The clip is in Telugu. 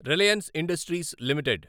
Reliance Industries limited